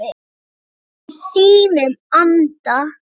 Allt í þínum anda.